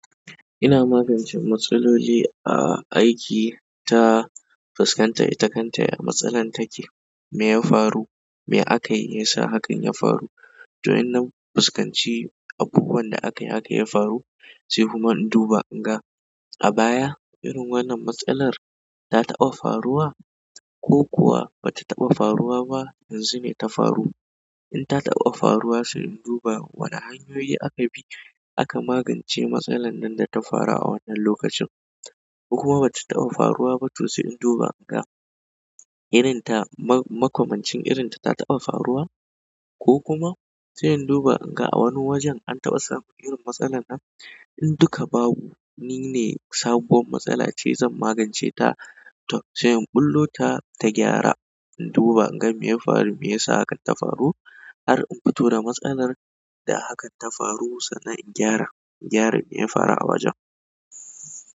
Ina magance matsaloli a aiki ta fuskanta ita kanta ya matsalar take. Me ya faru? Me aka yi ya sa hakan ya faru? To in na fuskanci abubuwan da aka yi haka yi ya faru, sai kuma in duba in ga a baya irin wannan matsalar ta taɓa faruwa ko kuwa ba ta taɓa faruwa ba yanzu ne ta faru. In ta taɓa faruwa, sai in duba wane hanyoyi aka bi aka magance matsalar nan da ta faru a wannan lokacin. Ko kuma ba ta taɓa faruwa ba to sai in duba in ga irin ta makamancin irin ta ta taɓa faruwa ko kuma sai in duba in ga a wani wajen an taɓa samu irin matsalar nan. In dukka babu ni ne sabuwar matsala ce zan magance ta. To sai in ɓullo ta, ta gyara. In duba in ga me ya faru, me ya sa hakan ta faru. Har in fito da matsalar da hakan ta faru sannan in gyara, gyara me ya faru a wajen.